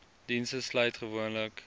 dienste sluit gewoonlik